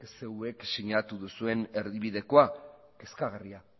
zeuek sinatu duzuen erdibidekoa kezkagarria